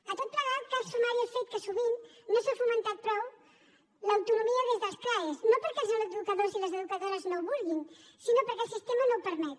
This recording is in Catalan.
a tot plegat cal sumar hi el fet que sovint no s’ha fomentat prou l’autonomia des dels crae no perquè els educadors i les educadores no ho vulguin sinó perquè el sistema no ho permet